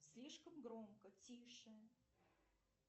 слишком громко тише